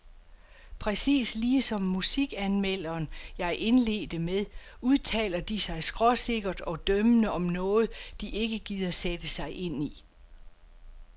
Præcis ligesom musikanmelderen, jeg indledte med, udtaler de sig skråsikkert og dømmende om noget, de ikke gider sætte sig ind i.